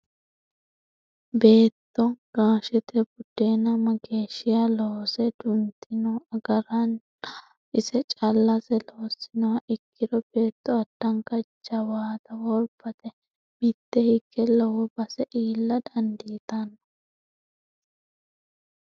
Beetto gashete budenna mageeshshiha loose duntinno agarinna ise callase loosinoha ikkiro beetto addanka jawaatta worbate mite hige lowo base iilla dandiittano.